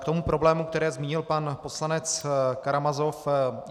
K tomu problému, který zmínil pan poslanec Karamazov.